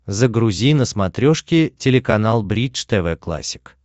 загрузи на смотрешке телеканал бридж тв классик